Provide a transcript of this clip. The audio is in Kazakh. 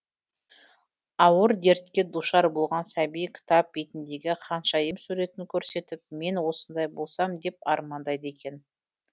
ауыр дертке душар болған сәби кітап бетіндегі ханшайым суретін көрсетіп мен осындай болсам деп армандайды екен